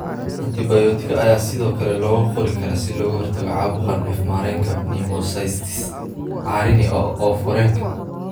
Antibiyootiko ayaa sidoo kale loo qori karaa si looga hortago caabuqa neef-mareenka, pneumocystis carini oof wareenka.